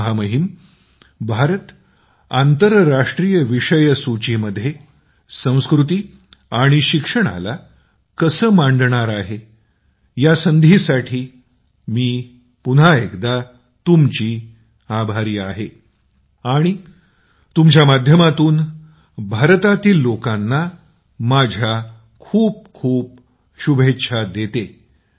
महामहिम भारत आंतरराष्ट्रीय विषयसूचीमध्ये संस्कृती आणि शिक्षणाला कसे मांडणार आहे या संधीसाठी मी पुन्हा एकदा तुमचा आभारी आहे आणि तुमच्या माध्यमातून भारतातील लोकांना माझ्या खूप खूप शुभेच्छा देतो